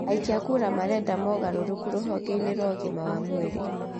aikia a kura marenda mogarũrũku rũhonge-inĩ rwa ũgima wa mwĩrĩ